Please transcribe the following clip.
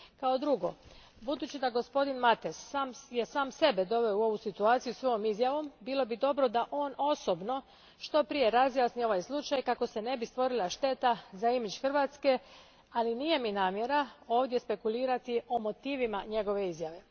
Kao drugo, budući da je gospodin Mates sam sebe doveo u ovu situaciju svojom izjavom, bilo bi dobro da on osobno što prije razjasni ovaj slučaj kako se ne bi stvorila šteta za imidž Hrvatske, ali nije mi namjera ovdje spekulirati o motivima njegove izjave.